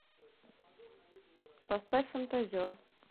поставь фантазер